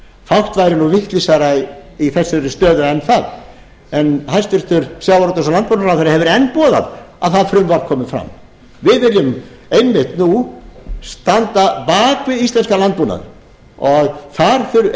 fátt væri nú vitlausara í þessari stöðu en það en hæstvirtur sjávarútvegs og landbúnaðarráðherra hefur enn boðað að það frumvarp komi fram við viljum einmitt nú standa bak við íslenskan landbúnað og þar eigum